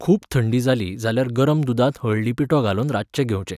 खूब थंडी जाली जाल्यार गरम दुदांत हळदी पिठो घालून रातचें घेवचें.